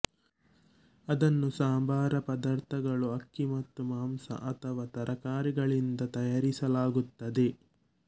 ಅದನ್ನು ಸಂಬಾರ ಪದಾರ್ಥಗಳು ಅಕ್ಕಿ ಮತ್ತು ಮಾಂಸ ಅಥವಾ ತರಕಾರಿಗಳಿಂದ ತಯಾರಿಸಲಾಗುತ್ತದೆ